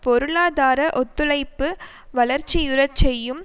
பொருளாதார ஒத்துழைப்பு வளர்ச்சியுறச்செய்யும்